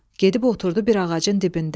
Gedib oturdu bir ağacın dibində.